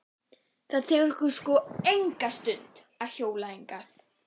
Það tekur sko enga stund að hjóla hingað.